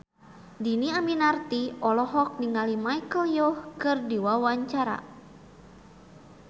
Dhini Aminarti olohok ningali Michelle Yeoh keur diwawancara